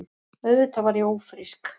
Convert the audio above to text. Auðvitað var ég ófrísk.